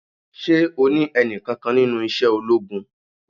Ṣé o ní ẹni kankan nínú iṣẹ́ ológun?